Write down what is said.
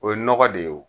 O ye nɔgɔ de ye o